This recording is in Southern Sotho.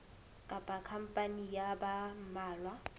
kapa khampani ya ba mmalwa